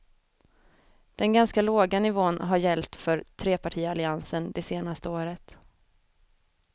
Den ganska låga nivån har gällt för trepartialliansen det senaste året.